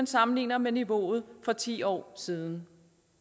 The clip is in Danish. sammenlignet med niveauet for ti år siden